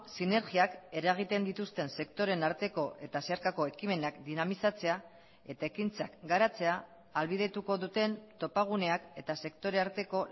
sinergiak eragiten dituzten sektoreen arteko eta zeharkako ekimenak dinamizatzea eta ekintzak garatzea ahalbidetuko duten topaguneak eta sektore arteko